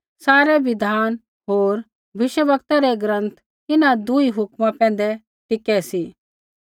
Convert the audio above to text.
सारै बिधान होर भविष्यवक्तै रै ग्रँथ इन्हां दूई हुक्मा पैंधै टिकै सी